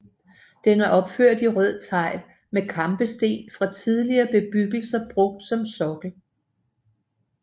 Den er opført i rød tegl med kampesten fra tidligere bebyggelser brugt som sokkel